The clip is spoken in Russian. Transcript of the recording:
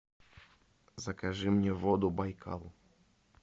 закажи мне воду байкал